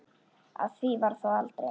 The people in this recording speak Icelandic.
Af því varð þó aldrei.